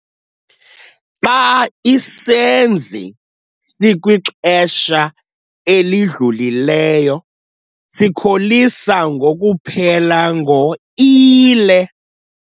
Xa isenzi sikwixesha elidlulileyo sikholisa ngokuphela ngo-ile.